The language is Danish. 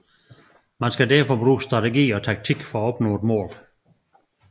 Man skal derfor bruge strategi og taktik for at opnå et mål